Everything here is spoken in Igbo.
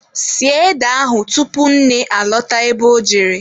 Sie ede ahụ tupu nne alọta ebe ọ jere.